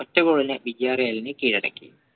ഒറ്റ ഗോളിന് കീഴടക്കി